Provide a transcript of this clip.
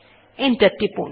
enter টিপুন